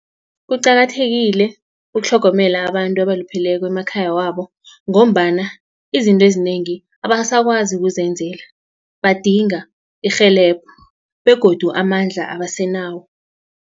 Kuqakathekile ukutlhogomela abantu abalupheleko emakhaya wabo ngombana izinto ezinengi abasakwazi ukuzenzela badinga irhelebho begodu amandla abasenawo.